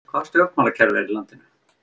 Hvaða stjórnmálakerfi er í landinu